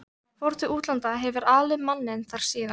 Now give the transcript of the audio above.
Fór til útlanda, hefur alið manninn þar síðan.